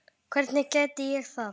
Hvernig gæti ég það?